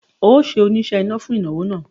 O óò ṣe oníṣe iná fún ìnáwó náà